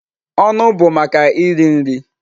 Ọnụ bụ maka iri nri.